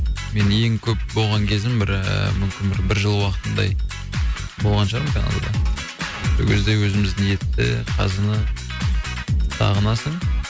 мен ең көп болған кезім бір ііі мүмкін бір бір жыл уақытындай болған шығар мүмкін канада да сол кезде өзіміздің етті қазыны сағынасың